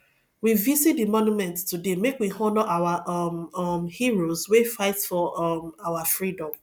we visit di monument today make we honour our um um heroes wey fight for um our freedom